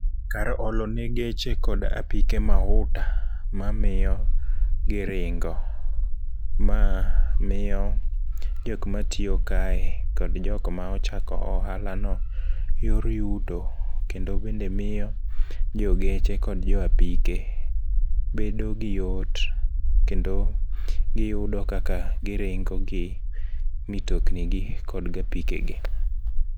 Kar olo ne geche kod apike mauta mamiyo giringo. Ma miyo jokmatiyo kae kod jokma ochako ohalano yor yuto kendo bende miyo jogeche kod joapike bedo gi yot kendo giyudo kaka giringo gi mitokni gi kodgi apikegi.